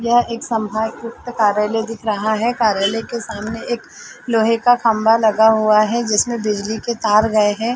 यह एक संभागउक्त कार्यालय दिख रहा है कार्यालय के सामने एक लोहे का खम्बा लगा हुआ है जिसमे बिजली के तार गए है।